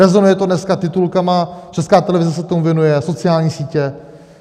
Rezonuje to dneska titulky, Česká televize se tomu věnuje, sociální sítě.